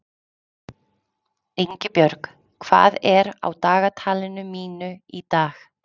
Ingibjörg, hvað er á dagatalinu mínu í dag?